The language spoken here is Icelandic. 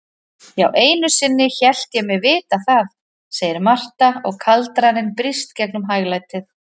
Já, einusinni hélt ég mig vita það, segir Marta og kaldraninn brýst gegnum hæglætið.